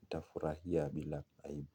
nitafurahia bila aibu.